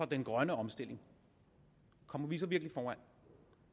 den grønne omstilling kommer vi så virkelig foran